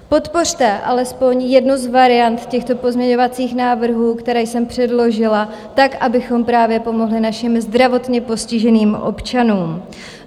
Podpořte alespoň jednu z variant těchto pozměňovacích návrhů, které jsem předložila, tak, abychom právě pomohli našim zdravotně postiženým občanům.